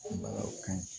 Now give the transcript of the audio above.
o kaɲi